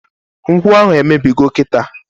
Nkwụ ahụ emebigo kịta!